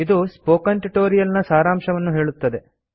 ಇದು spoken tutorial ನ ಸಾರಾಂಶವನ್ನು ಹೇಳುತ್ತದೆ